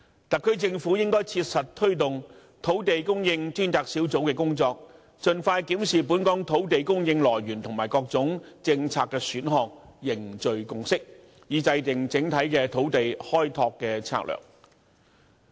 特區政府應切實推動土地供應專責小組的工作，盡快檢視本港土地供應來源和各種政策的選項，凝聚共識，以制訂整體土地開拓策略。